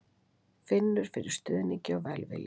Finnur fyrir stuðningi og velvilja